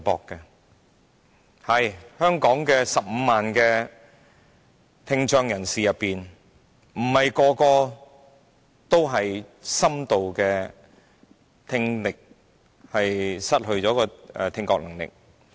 的確，在香港15萬聽障人士中，並非每一位都是深度聽障的。